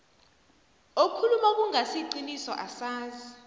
okhuluma okungasiqiniso asazi